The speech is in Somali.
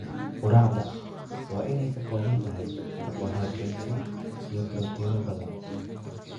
Quraacda waa inay ka kooban tahay karbohaydraytyo iyo borotiinno badan.